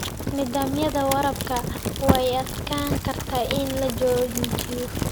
Nidaamyada waraabka way adkaan kartaa in la jaangooyo.